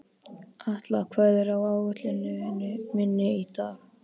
Atla, hvað er á áætluninni minni í dag?